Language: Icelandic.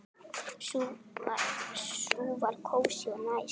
Sú var kósí og næs.